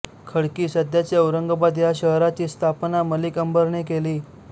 खडकी सध्याचे औरंगाबाद ह्या शहराची स्थापना मलिक अंबरने केली